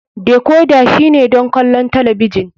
Decorder shine don kallon talabijin.